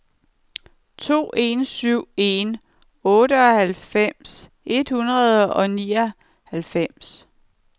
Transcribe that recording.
to en syv en otteoghalvfems tre hundrede og nioghalvfems